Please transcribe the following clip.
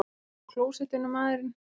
Hann er á klósettinu, maðurinn!